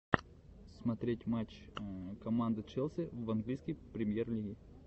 смотреть матч команды челси в английской премьер лиги